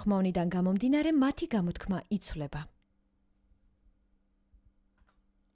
ხმოვანიდან გამომდინარე მათი გამოთქმა იცვლება